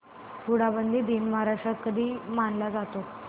हुंडाबंदी दिन महाराष्ट्रात कधी मानला जातो